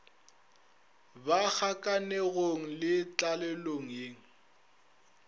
ba kgakanegong le tlalelong ye